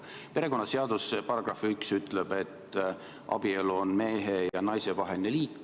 Perekonnaseaduse § 1 ütleb, et abielu on mehe ja naise vaheline liit.